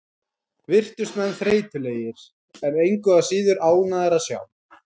Virtust menn þreytulegir, en engu að síður ánægðir að sjá.